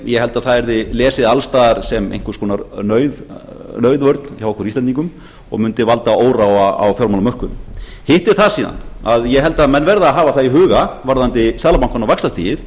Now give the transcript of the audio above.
ég held að það yrði lesið alls staðar sem einhvers konar nauðvörn hjá okkur íslendingum og mundi valda óróa á fjármálamörkuðum hitt er það síðan að ég held að menn verði að hafa það í huga varðandi seðlabankann og vaxtastigið